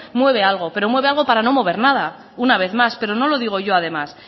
mueve algo pero mueve algo para no mover nada una vez más pero no lo digo yo además